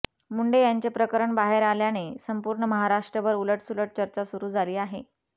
मुंडे यांचे प्रकरण बाहेर आल्याने संपूर्ण महाराष्ट्रभर उलटसुलट चर्चा सुरु झाली आहे